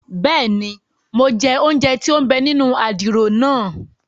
Bẹẹni, Mo jẹ ounjẹ tí o n bè nínú àdìrò naa